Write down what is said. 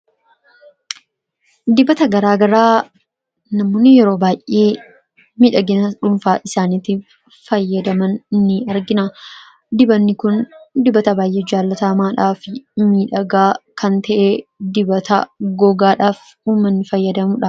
Dibata garaagaraa namoonni yeroo baay'ee miidhagina dhuunfaa isaaniitiif fayyadaman ni argina. Dibanni kun dibata baay'ee jaallatamaadhaa fi miidhagaa kan ta'e dibata gogaadhaaf ummanni fayyadamu dha.